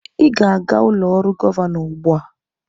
Ị ga-aga ụlọ ọrụ gọvanọ ugbu a!